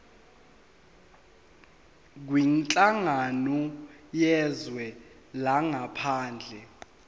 kwinhlangano yezwe langaphandle